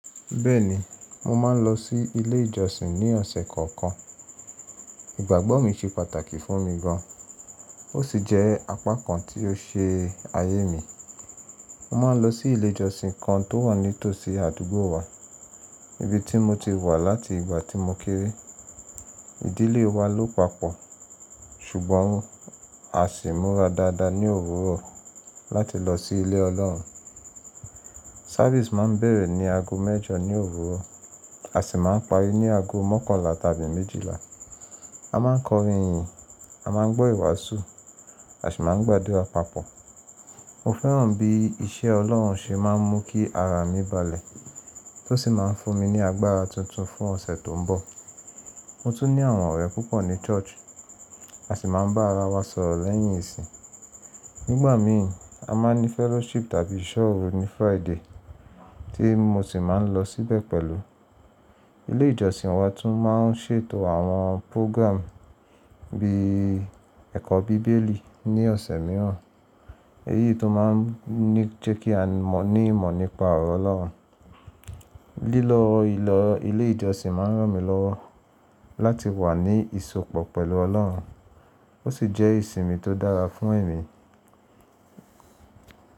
Bẹ́ẹ̀ni, mo máa ń lọ sí ilé ìjọsìn ní ọ̀sẹ̀ kọ̀ọ̀kan. Ìgbàgbọ́ mi ṣe pàtàkì fún mi gan, ó sì jẹ́ apá kan tí ó ṣe ayé mi. Mo máa ń lọ sí ilé ìjọsìn kan tó wà ní tòsí àdúgbò wa, ibi tí mo ti wà láti ìgbà tí mo kéré. Ìdílé wa ló papọ̀, ṣùgbọ́n a sì ń múra dáadáa ní òwúrọ̀ láti lọ sí ilé Ọlọ́run. Mo máa ń lọ sí ilé ìjọsìn kan tó wà ní tòsí àdúgbò wa, ibi tí mo ti wà láti ìgbà tí mo kéré. Ìdílé wa ló papọ̀, ṣùgbọ́n a sì ń múra dáadáa ní òwúrọ̀ láti lọ sí ilé Ọlọ́run. A máa ń kọrin ìyìn, a máa ń gbọ́ ìwàásù, a sì máa ń gbàdúrà papọ̀. Mo fẹ́ràn bí iṣẹ́ Ọlọ́run ṣe máa ń mú kí ara mi balẹ̀ tó sì máa ń fún mi ní agbára tuntun fún ọ̀sẹ̀ tó ń bọ̀. Mo tún ní àwọn ọ̀rẹ́ púpọ̀ ní ṣọ́ọ̀ṣì, a sì máa ń bá ara wa sọ̀rọ̀ lẹ́yìn ìsìn. Nígbà míì, a máa ń ní fellowship tàbí ìṣọ́òru ní Friday tí mo sì máa ń lọ síbẹ̀ pẹ̀lú. Ilé ìjọsìn wa tún máa ń ṣètò àwọn pórọ́gírámù bíi ẹ̀kọ́ Bíbélì ní ọ̀sẹ̀ mìíràn, èyí tó máa ń jẹ́ kí a ní ìmọ̀ nípa ọ̀rọ̀ Ọlọ́run. Lílọ ilé ìjọsìn máa ń ràn mí lọ́wọ́ láti wà ní ìsopọ̀ pẹ̀lú Ọlọ́run, ó sì jẹ́ ìsinmi tó dára fún èmi.